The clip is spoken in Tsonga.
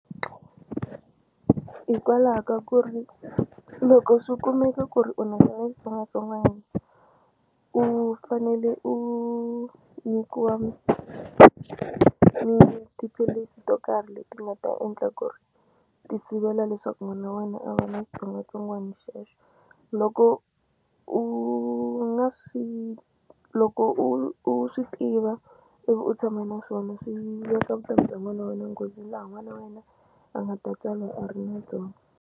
Hikwalaho ka ku ri loko swi kumeka ku ri u na xona xitsongwatsongwana u fanele u nyikiwa tiphilisi to karhi leti nga ta endla ku ri ti sivela leswaku n'wana wa wena a va na switsongwatsongwani xexo loko u nga swi loko u u swi tiva ivi u tshama na swona swi veka vutomi bya n'wana wa wena nghozini laha n'wana wena a nga ta tswariwa a ri na byona.